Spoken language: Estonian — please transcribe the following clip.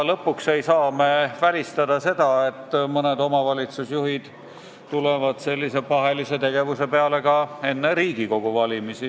Lõpuks ei saa me välistada seda, et mõned omavalitsusjuhid tulevad sellise pahelise tegevuse peale ka enne Riigikogu valimisi.